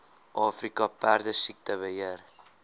afrika perdesiekte beheer